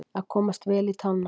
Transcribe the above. Að komast vel í tána